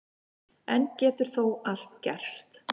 Enn getur þó allt gerst